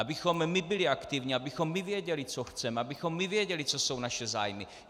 Abychom my byli aktivní, abychom my věděli, co chceme, abychom my věděli, co jsou naše zájmy.